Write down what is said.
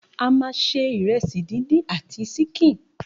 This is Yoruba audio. A ma ṣe ìrẹsì díndín àti sínkín.